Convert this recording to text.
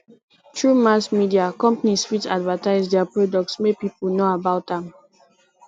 through mass media companies fit advertise their product make people know about am